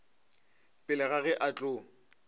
pele ga ge a tlo